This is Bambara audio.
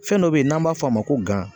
Fɛn dɔ be yen n'an b'a f'o ma ko gan.